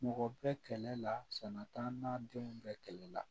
Mɔgɔ bɛ kɛlɛ la sɛnɛ t'an denw bɛɛ kɛlɛ la